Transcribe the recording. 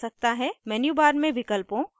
* menu bar में विकल्पों